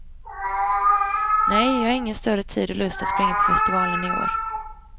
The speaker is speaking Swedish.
Nej, jag hade ingen större tid och lust att springa på festivalen i år.